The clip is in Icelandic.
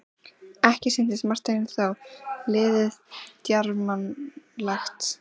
Ekki sýndist Marteini þó liðið djarfmannlegt.